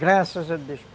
Graças a Deus.